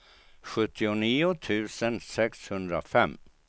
sjuttionio tusen sexhundrafem